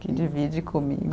Que divide comigo